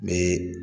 Ni